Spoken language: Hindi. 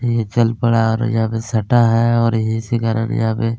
ये चल पड़ा और यहाँ पे सटा है और इसी कारन यहाँ पे--